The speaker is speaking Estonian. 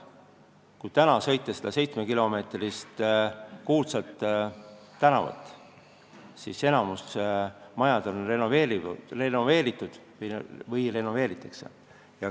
Kui täna sõita mööda seda 7 kilomeetri pikkust kuulsat tänavat, siis näeme, et enamik maju on renoveeritud või renoveerimisel.